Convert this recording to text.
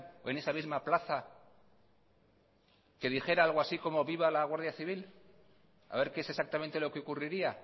o en esa misma plaza que dijera algo así como viva la guardia civil a ver qué es exactamente lo que ocurriría